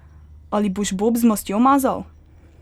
Ali boš bob z mastjo mazal!